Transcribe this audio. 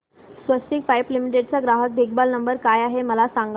स्वस्तिक pipe limited चा ग्राहक देखभाल नंबर काय आहे मला सांगा